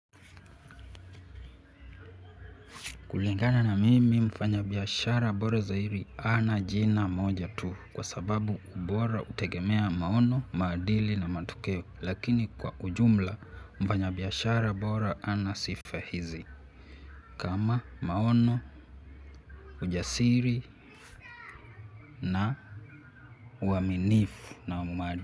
Kulingana na mimi mfanyabiashara bora zairi hana jina moja tu kwa sababu ubora hutegemea maono, maadili na matokeo lakini kwa ujumla mfanyabiashara bora ana sifa hizi kama maono, ujasiri na uaminifu na uma.